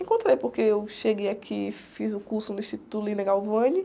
Encontrei, porque eu cheguei aqui, fiz o curso no Instituto.